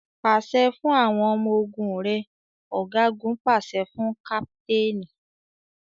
Pàṣẹ fún àwọn ọmọ ogún rẹ! Ọ̀gágun pàṣẹ fún káptéénì.